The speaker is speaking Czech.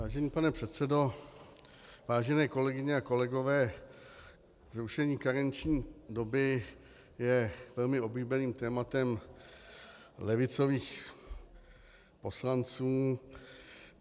Vážený pane předsedo, vážené kolegyně a kolegové, zrušení karenční doby je velmi oblíbeným tématem levicových poslanců.